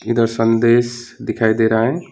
इधर संदेश दिखाई दे रहा है।